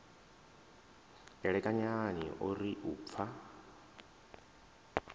elekanyani o ri u pfa